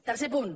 tercer punt